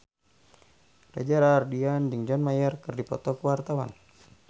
Reza Rahardian jeung John Mayer keur dipoto ku wartawan